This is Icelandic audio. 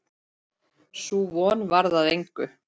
Sú von varð að engu.